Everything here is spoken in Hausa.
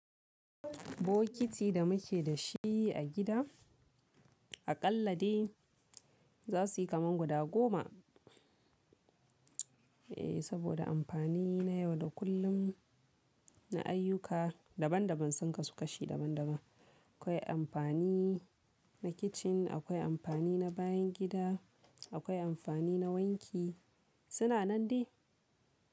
Bokiti da muke da shi a gida a kalla de za su yi kaman guda goma. Eh saboda amfani na yau da kullum na ayyuka daban daban sun kasu kashi daban daban. Akwai amfani na kitchen, akwai amfani na bayan gida, akwai amfani na wanki suna nan dai.